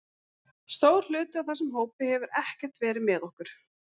Stór hluti af þessum hópi hefur ekkert verið með okkur.